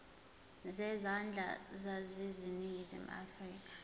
zezandla zaseningizimu afrika